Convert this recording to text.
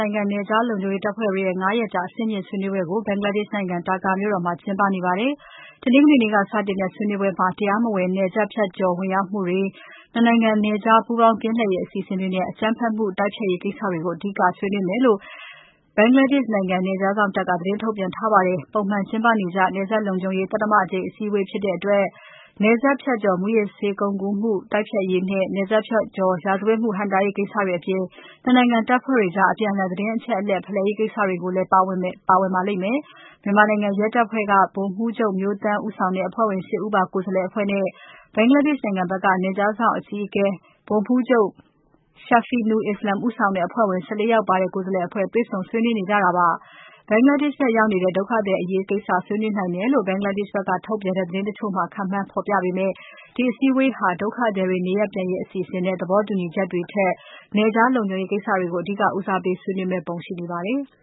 နိုင်ငံ နယ်ခြား လုံခြုံရေးတပ်ဖွဲ့တွေရဲ့ ငါးရက်ကြာ အဆင့်မြင့် ဆွေးနွေးပွဲ ဘင်္ဂလားဒေ့ရှ်နိုင်ငံ Dhaka မြို့မှာ မနေ့က စတင်ကျင်းပပြီး တရားမဝင်နယ်စပ်ဖြတ်ကျော် ဝင်ရောက်မှုတွေ၊ နှစ်နိုင်ငံ နယ်ခြား ပူးပေါင်း ကင်းလှည့်ရေး အစီအစဉ်တွေနဲ့ အကြမ်းဖက်မှု တိုက်ဖျက်ရေးကိစ္စတွေကို အဓိက ဆွေးနွေးမယ်လို့ ဘင်္ဂလားဒေ့ရှ်နိုင်ငံ နယ်ခြားစောင့်တပ်က သတင်းထုတ်ပြန်ထားပါတယ်။ ပုံမှန်ကျင်းပနေကြ နယ်စပ်လုံခြုံရေး သတ္တမအကြိမ် အစည်းအဝေး ဖြစ်တဲ့အတွက် နယ်ခြား မူးယစ်ဆေးဝါး ကုန်ကူးမှု တိုက်ဖျက်ရေးနဲ့ နယ်စပ်ကျော် ရာဇဝတ်မှု ဟန့်တားရေး ကိစ္စတွေအပြင် နှစ်နိုင်ငံ တပ်ဖွဲ့တွေအကြား အပြန်အလှန် သတင်းအချက်အလက် ဖလှယ်ရေး ကိစ္စတွေလည်းလည်း ပါဝင်ပါလိမ့်မယ်။ မြန်မာနိုင်ငံရဲတပ်ဖွဲ့က ဗိုလ်မှူးချုပ် မျိုးသန်း ဦးဆောင်တဲ့ အဖွဲ့ဝင် ၈ ဦးပါ ကိုယ်စားလှယ်အဖွဲ့နဲ့ ဘင်္ဂလားဒေ့ရှ်နိုင်ငံဘက်က နယ်ခြားစောင့်တပ် အကြီးအကဲ ဗိုလ်မှူးချုပ် Shafeenu Islam ဦးဆောင်တဲ့ အဖွဲ့ဝင် ၁၄ ဦးပါ ကိုယ်စားလှယ်အဖွဲ့ တွေ့ဆုံဆွေးနွေးကြတာပါ။ ဘင်္ဂလားဒေ့ရှ်နိုင်ငံဘက် ရောက်နေတဲ့ ဒုက္ခသည်အရေးကိစ္စကို ဆွေးနွေးနိုင်တယ်လို့ ဘင်္ဂလားဒေ့ရှ်နိုင်ငံထုတ် သတင်းတချို့မှာ ခန့်မှန်း ဖေါ်ပြပေမယ့် ဒီအစည်းအဝေးဟာ ဒုက္ခသည်တွေ နေရပ်ပြန်ရေး အစီအစဉ်နဲ့ သဘောတူညီချက်တွေထက်၊ နယ်ခြား လုံခြုရေးကိစ္စတွေကို အဓိက ဦးစားပေး ဆွေးနွေးမယ့်ပုံ ရှိနေပါတယ်။